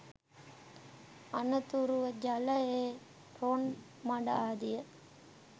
අනතුරුව ජලයේ රොන් මඩ ආදිය